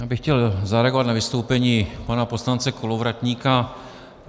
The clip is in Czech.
Já bych chtěl zareagovat na vystoupení pana poslance Kolovratníka.